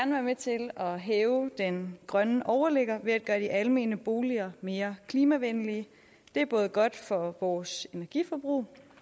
med til at hæve den grønne overligger ved at gøre de almene boliger mere klimavenlige det er både godt for vores energiforbrug